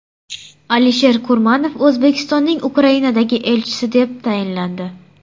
Alisher Kurmanov O‘zbekistonning Ukrainadagi elchisi etib tayinlandi.